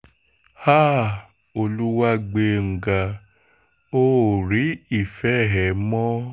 háà olùwágbèǹga o ò rí ìfẹ́ ẹ mọ́